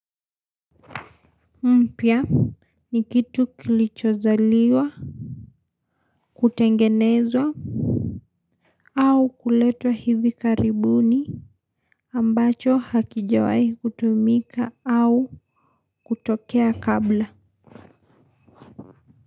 Mpya ni kitu kilichozaliwa. Kutengenezwa au kuletwa hivi karibuni ambacho hakijawai kutumika au kutokea kabla.